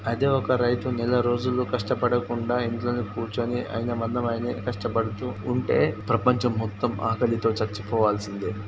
అదే ఒక రైతు నెల రోజులు కష్టపడకుండా ఇంట్లోనే కూర్చొని అయిన మందం ఆయనే కష్టపడుతూ ఉంటే ప్రపంచం మొత్తం ఆకలితో చచ్చిపోవాల్సిందే.